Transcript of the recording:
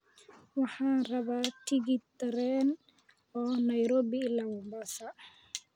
waxaan rabaa tigidh tareen oo nairobi ilaa mombasa